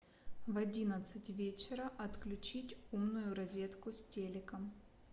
в одиннадцать вечера отключить умную розетку с телеком